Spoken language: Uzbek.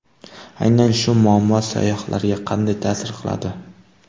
Aynan shu muammo sayyohlarga qanday ta’sir qiladi?